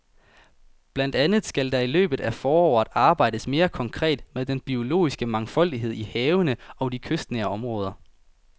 Blandt andet skal der i løbet af foråret arbejdes mere konkret med den biologiske mangfoldighed i havene og i de kystnære områder.